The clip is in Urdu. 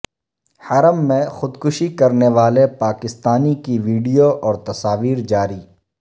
حرم میں خود کشی کرنے والے پاکستانی کی وڈیو اور تصاویر جاری